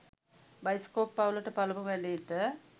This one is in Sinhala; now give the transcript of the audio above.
බයිස්කෝප් පවුලට පළමු වැඩේට